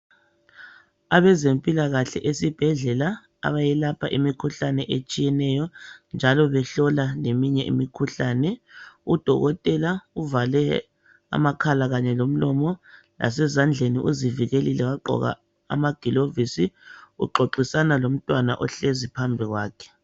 Abezempilakahle esibhedlela abayelapha imikhuhlane etshiyeneyo njalo behlola leminye imikhuhlane. Udokotela uvale amakhala kanye lomlomo lasezandleni uzivikelile wagqoka amagilovisi uxoxisana lomntwana ohlezi phambi kwakhe.